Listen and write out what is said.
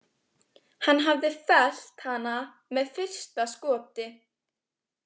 Hann hafði fellt hana með fyrsta skoti.